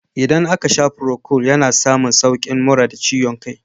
Idan aka sha furokol, ana samun saukin mura da ciwon kai.